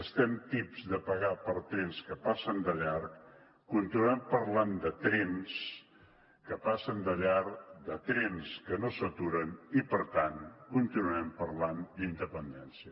estem tips de pagar per trens que passen de llarg continuem parlant de trens que passen de llarg de trens que no s’aturen i per tant continuarem parlant d’independència